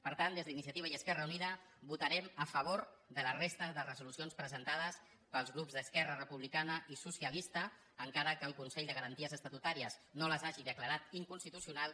per tant des d’iniciativa i esquerra unida votarem a favor de la resta de resolucions presentades pels grups d’esquerra republicana i socialista encara que el consell de garanties estatutàries no les hagi declarat inconstitucionals